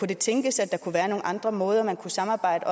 det tænkes at der kunne være nogle andre måder man kunne samarbejde